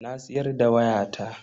Na siyar da wayata.